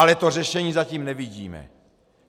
Ale to řešení zatím nevidíme.